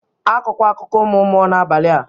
Akọkwa akụkọ ụmụ mmụọ n'abalị a!